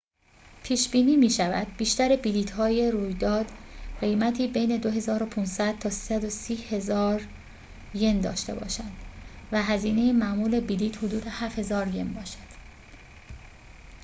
پیش‌بینی می‌شود بیشتر بلیط‌های رویداد قیمتی بین 2500 تا 130،000 ین داشته باشند و هزینه معمول بلیط حدود 7000 ین باشد